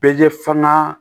fana